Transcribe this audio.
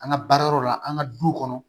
An ka baara yɔrɔ la an ka du kɔnɔ